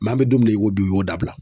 an bɛ don min na i ko bi u y'o dabila.